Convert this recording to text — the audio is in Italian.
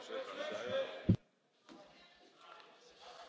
Onorevole, un po' di flessibilità a volte serve.